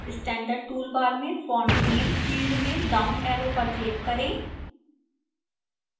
standard toolbar में font name field में downarrow पर click करें